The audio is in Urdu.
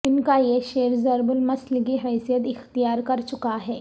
ان کا یہ شعر ضرب المثل کی حیثیت اختیار کر چکا ہے